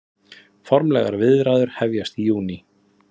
Formlegar viðræður hefjast í júní